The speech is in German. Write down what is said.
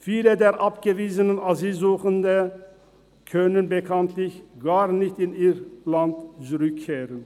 Viele der abgewiesenen Asylsuchenden können bekanntlich gar nicht in ihr Land zurückkehren.